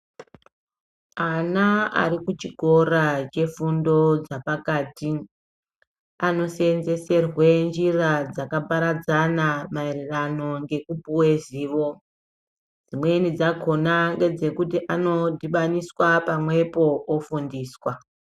Ana ari kuchikora chefundo dzepakati anoseenzeserwa nzira dzakaparadzana maererano ngekupuwa zivo. Dzimweni dzakhona ngedzekuti anodhibaniswa pamwepo ofundiswa.